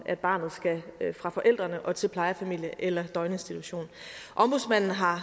at barnet skal fra forældrene og til plejefamilie eller døgninstitution ombudsmanden har